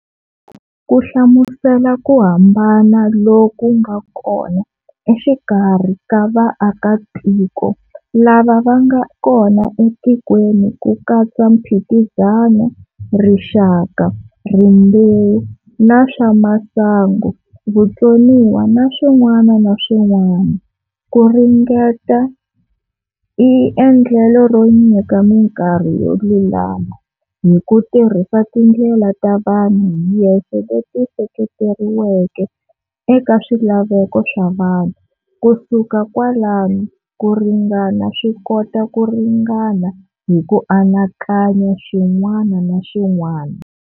Ku hlamusela ku hambana loku nga kona exikarhi ka ka vaakatiko lava vanga kona etikweni kukatsa mphikizano, rixaka, rimbewu na swamasangu, vutsoniwa na swinwana na swunwana.ku ringana i endlelo ro nyika minkarhi yo lulama hiku tirhisa tindlela ta vanhu hi yexe leti seketeriweke eka swilaveko swa vanhu.kusuka kwalano kuringana swikota ku ringana hiku anakanya xin'wana na xin'wana.